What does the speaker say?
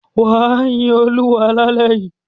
Wà á yin Olúwa lálẹ́ yìí.